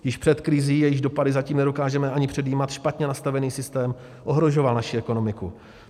Již před krizí, jejíž dopady zatím nedokážeme ani předjímat, špatně nastavený systém ohrožoval naši ekonomiku.